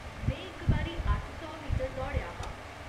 में इक बारी अट्ठ सौ मीटर दौड़ेआ हा।